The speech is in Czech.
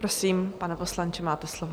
Prosím, pane poslanče, máte slovo.